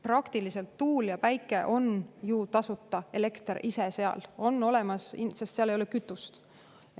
Praktiliselt on tuul ja päike ju tasuta, elekter ise seal, sest seal ei ole vaja kütust.